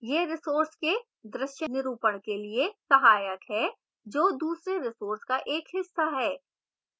यह resource के दृश्य निरूपण के लिए सहायक है जो दूसरे resource का एक हिस्सा है